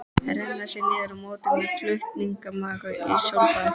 Renna sér niður í móti eða flatmaga í sólbaði?